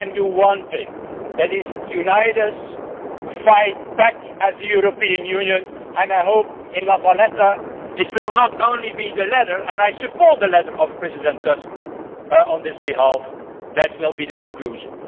We can do one thing and that is unite, fight back as the European Union, and I hope in Valletta it will not only be the letter and I support the letter of President Tusk on his behalf that will be the conclusion.